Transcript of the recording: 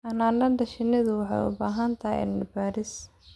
Xannaanada shinnidu waxay u baahan tahay cilmi baaris